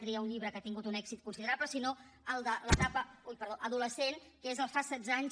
tria un llibre que ha tingut un èxit considerable sinó el de l’etapa adolescent que és el fas setze anys